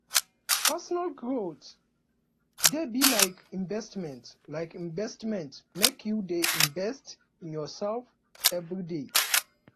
personal growth dey be like investment like investment make you dey invest in yoursef everyday